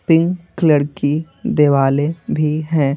Pink colour की देवाले भी हैं।